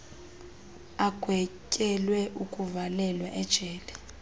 agwetyelwe ukuvalelwa ejele